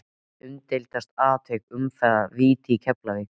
Umdeildasta atvik umferðarinnar: Víti í Keflavík?